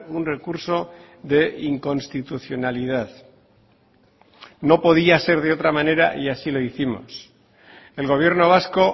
un recurso de inconstitucionalidad no podía ser de otra manera y así lo hicimos el gobierno vasco